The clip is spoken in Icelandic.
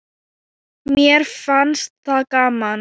Mér fannst það gaman.